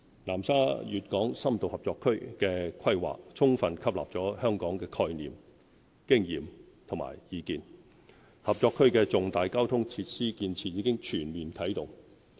南沙粵港深度合作區的規劃，充分吸納了香港的概念、經驗和意見，合作區的重大交通設施建設已全面啟動。